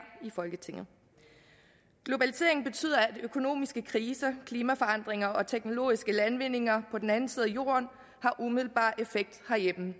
i folketinget globaliseringen betyder at økonomiske kriser klimaforandringer og teknologiske landvindinger på den anden side af jorden har umiddelbar effekt herhjemme